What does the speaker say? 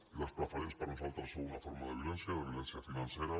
i les preferents per nosal·tres són una forma de violència de violència finance·ra